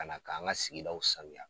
Ka na k'an ka sigidaw sanuya.